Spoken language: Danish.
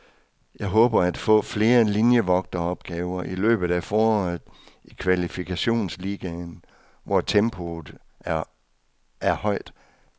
Jeg håber at få flere linievogteropgaver i løbet af foråret i kvalifikationsligaen, hvor tempoet et højt.